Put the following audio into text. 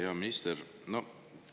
Hea minister!